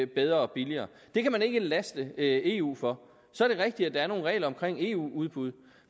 bedre og billigere det kan man ikke laste eu for så er det rigtigt at der er nogle regler omkring eu udbud